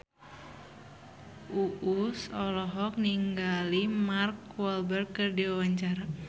Uus olohok ningali Mark Walberg keur diwawancara